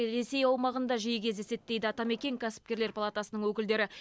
ресей аумағында жиі кездеседі дейді атамекен кәсіпкерлер палатасының өкілдері